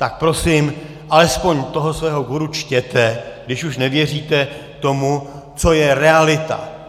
Tak prosím alespoň toho svého guru čtěte, když už nevěříte tomu, co je realita.